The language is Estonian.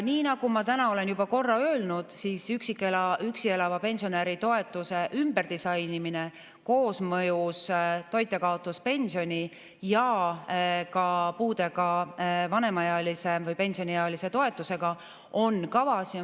Nii nagu ma täna olen juba korra öelnud, üksi elava pensionäri toetuse ümberdisainimine koosmõjus toitjakaotuspensioni ja ka puudega vanemaealise või pensioniealise toetusega on kavas.